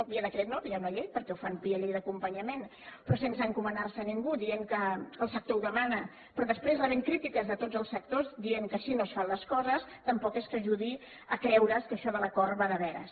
no via decret no via una llei perquè ho fan via llei d’acompanyament però sense encomanar se a ningú dient que el sector ho demana però després rebent crítiques de tots els sectors dient que així no es fan les coses tampoc és que ajudi a creure’s que això de l’acord va de veres